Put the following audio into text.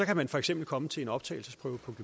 man for eksempel komme til en optagelsesprøve på